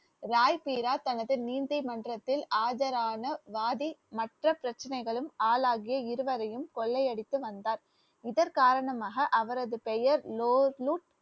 ராய் பீரா தனது நீந்தி மன்றத்தில் ஆஜரான வாதி மற்ற பிரச்சனைகளும் ஆளாகிய இருவரையும் கொள்ளையடித்து வந்தார் இதன் காரணமாக அவரது பெயர்